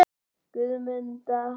Guðmunda